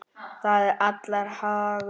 Það er allra hagur.